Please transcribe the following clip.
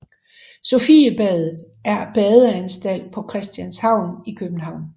Sofiebadet er badeanstalt på Christianshavn i København